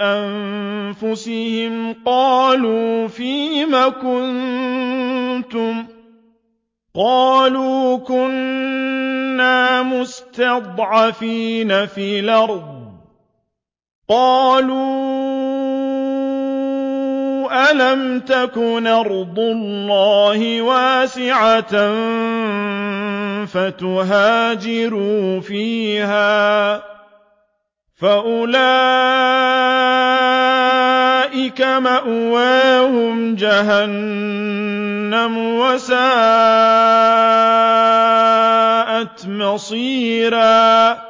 أَنفُسِهِمْ قَالُوا فِيمَ كُنتُمْ ۖ قَالُوا كُنَّا مُسْتَضْعَفِينَ فِي الْأَرْضِ ۚ قَالُوا أَلَمْ تَكُنْ أَرْضُ اللَّهِ وَاسِعَةً فَتُهَاجِرُوا فِيهَا ۚ فَأُولَٰئِكَ مَأْوَاهُمْ جَهَنَّمُ ۖ وَسَاءَتْ مَصِيرًا